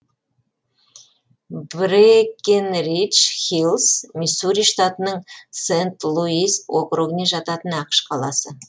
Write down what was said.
брэкенридж хиллс миссури штатының сент луис округіне жататын ақш қаласы